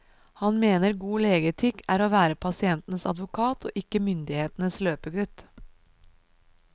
Han mener god legeetikk er å være pasientens advokat og ikke myndighetens løpegutt.